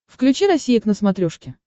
включи россия к на смотрешке